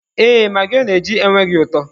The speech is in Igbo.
Ee, magị ọ na-eji enweghị ụtọ.